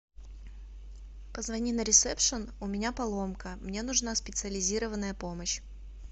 позвони на ресепшн у меня поломка мне нужна специализированная помощь